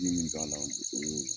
I ye min k'a la, o y'o ye.